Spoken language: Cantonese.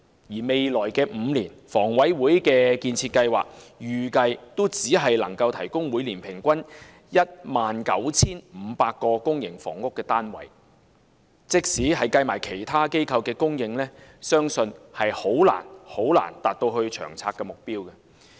而在未來5年，房委會的建設計劃預計只能每年提供平均 19,500 個公營房屋單位，即使加上其他機構的供應，相信也難以達到《長策》的目標。